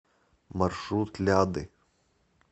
маршрут ляды